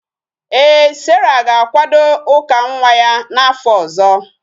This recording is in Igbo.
Ee, sarah ga-akwado ụka nwa nwa ya n'afọ ọzọ